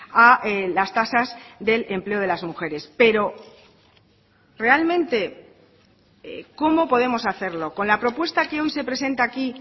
a las tasas del empleo de las mujeres pero realmente cómo podemos hacerlo con la propuesta que hoy se presenta aquí